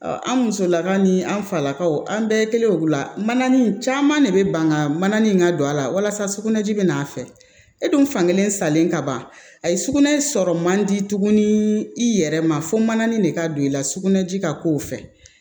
Ɔ an musolakaw ni an falakaw an bɛɛ kelen la mana nin caman de bɛ banga mana nin ka don a la walasa sugunɛji bɛ n'a fɛ e dun fan kelen salen kaban ayi sugunɛ sɔrɔ man di tuguni i yɛrɛ ma fo mananin de ka don i la sugunɛji ka k'o fɛ